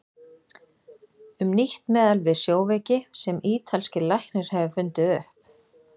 Um nýtt meðal við sjóveiki sem ítalskur læknir hefur fundið upp.